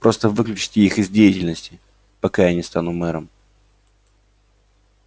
просто выключите их из деятельности пока я не стану мэром